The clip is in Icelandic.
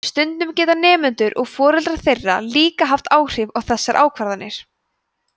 stundum geta nemendur og foreldrar þeirra líka haft áhrif á þessar ákvarðanir